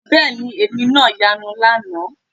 Bẹ́ẹ̀ ni èmi náà yanu lánàá